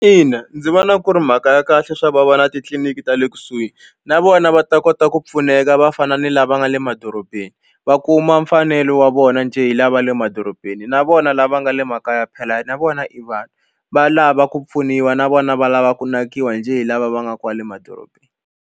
Ina ndzi vona ku ri mhaka ya kahle swa ku va va na titliliniki ta le kusuhi na vona va ta kota ku pfuneka va fana ni lava nga le madorobeni va kuma mfanelo wa vona njhe hi lava le madorobeni na vona lava nga le makaya phela na vona i vanhu va lava ku pfuniwa na vona va lava ku nakiwa njhe hi lava va nga kwale madorobeni.